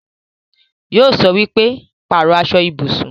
Yóò sọ wípé 'Pàrọ̀ aṣọ ibùsùn'